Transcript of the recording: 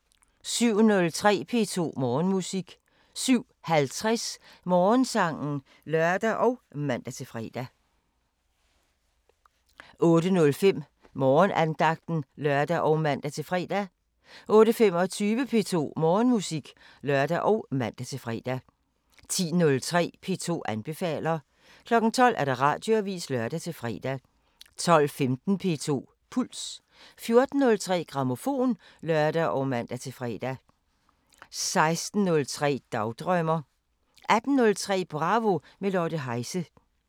07:03: P2 Morgenmusik 07:50: Morgensangen (lør og man-fre) 08:05: Morgenandagten (lør og man-fre) 08:25: P2 Morgenmusik (lør og man-fre) 10:03: P2 anbefaler 12:00: Radioavisen (lør-fre) 12:15: P2 Puls 14:03: Grammofon (lør og man-fre) 16:03: Dagdrømmer 18:03: Bravo – med Lotte Heise